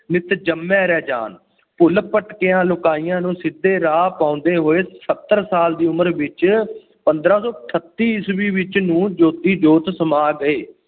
ਜਿਤੁ ਜੰਮੇ ਰਾਜਾਨ । ਭੁੱਲ ਭਟਕਿਆਂ ਲੁਕਾਈਆਂ ਨੂੰ ਸਿੱਧੇ ਰਾਹ ਪਾਉਂਦੇ ਹੋਏ ਸੱਤਰ ਸਾਲ ਦੀ ਉਮਰ ਵਿੱਚ ਪੰਦਰਾਂ ਸੌ ਅਠੱਤੀ ਈਸਵੀ ਵਿੱਚ ਨੂੰ ਜੋਤੀ ਜੋਤ ਸਮਾ ਗਏ।